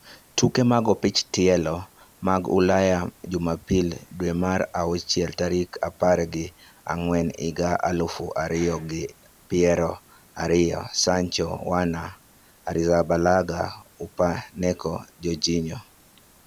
Tuke mag opich tielo mag Ulaya Jumapil, dwe mar auchiel tarik apar gi ang`wen higa aluf ariyo gi pier ariyo: Sancho, Werner, Arrizabalaga, Upamecano, Jorginho